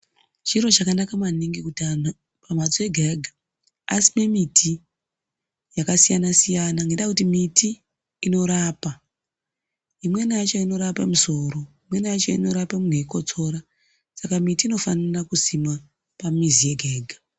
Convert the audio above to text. Chiro chakanaka maningi kuti antu pamhatso yega-yega asime miti yakasiyana-siyana. Ngendaa yekuti miti inorapa, imweni yacho inorapa musoro, imweni yacho inorapa muntu eikotsora saka miti inofanira kusimwa pamizi yega-yega.